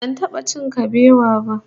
Ban taba cin kabewa ba